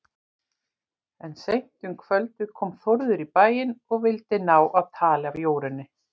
En seint um kvöldið kom Þórður í bæinn og vildi ná tali af Jórunni.